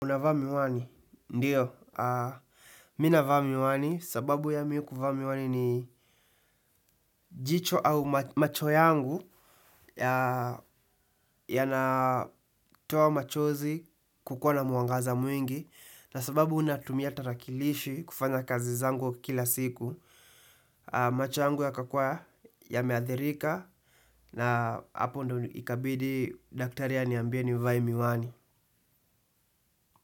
Unavaa miwani? Ndio. Mimi navaa miwani sababu ya mimi kuvaa miwani ni jicho au macho yangu yanatoa machozi kukuwa na mwangaza mwingi na sababu natumia tarakilishi kufanya kazi zangu kila siku. Macho yangu yakakuwa yameathirika na hapo ndo ikabidi daktari aniambie nivae miwani.